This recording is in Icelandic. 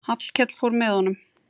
Hallkell fór með honum.